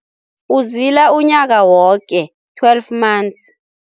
Uzila unyaka woke, twelve months.